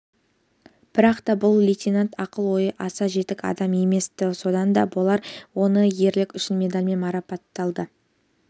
бірақ та бұл лейтенант ақыл-ойы аса жетік адам емес-ті сонда да болса оны ерлігі үшін медалімен марапатталды